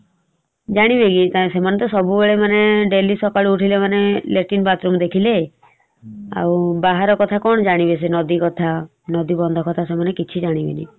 ଜାଣିବେ କି କାଇଁ ସେମାନେ ତ ସବୁବେଳେ ମାନେ daily ସକାଳୁ ଉଠିଲେ ମାନେ latrine bathroom ଦେଖିଲେ । ଆଉ ବାହାର କଥା କଣ ଯାଣିବେ ସେ ନଦୀ କଥା ନଦୀ ବନ୍ଧ କଥା ସେମାନେ କିଛି ଜାଣିବେନି ।